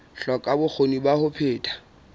hloka bokgoni ba ho phetha